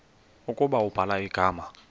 ukuba ubhala igama